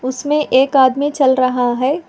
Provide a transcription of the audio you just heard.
इसमें एक आदमी चल रहा है।